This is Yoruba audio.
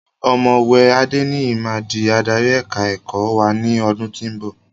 Ọ̀mọ̀wé Adeniyi máa di adarí èka-ẹ̀kọ́ wá ní ọdún tí ó ń bọ̀.